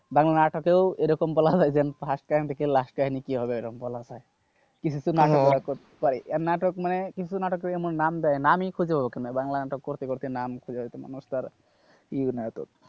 বাংলা নাটকেও এরকম বলা যায় যে first দেখে last কাহিনী কি হবে এরকম বলা যায় কিন্তু নাটকের, কিন্তু নাটক মানে কিছু নাটকের এমন নাম দেয় নামি খুঁজে ওঠেনা বাংলা নাটক করতে করতে নাম খুঁজে ওঠে না বুঝতে পারলে কি নাটক,